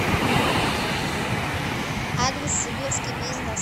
адрес сибирский бизнес